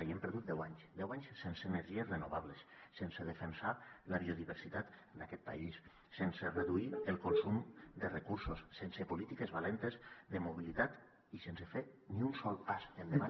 hem perdut deu anys deu anys sense energies renovables sense defensar la biodiversitat d’aquest país sense reduir el consum de recursos sense polítiques valentes de mobilitat i sense fer ni un sol pas endavant